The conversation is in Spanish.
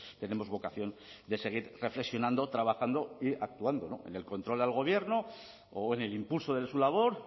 tenemos vocación de seguir reflexionando trabajando y actuando en el control al gobierno o en el impulso de su labor